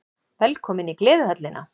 Velkomin í Gleðihöllina!